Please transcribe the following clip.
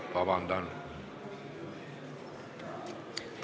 Palun vabandust!